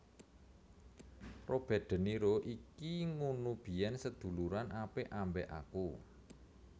Robert de Niro iki ngunu biyen seduluran apik ambek aku